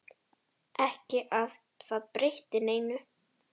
Ekki að það breytti neinu.